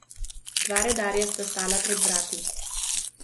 Dva redarja sta stala pred vrati.